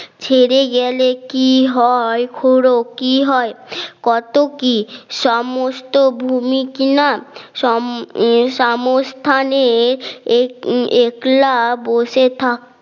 ছেড়ে গেলে কি হয় খুড়ো কি হয় কত কি সমস্ত ভূমিকনা সোম সমস্থানের এক একলা বসে থাক